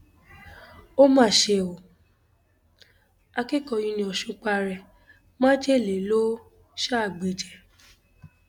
ó mà ṣe um o akẹkọọ uniosun para ẹ májèlé ló um gbé jẹ